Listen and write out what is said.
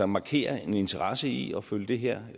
markere en interesse i at følge det her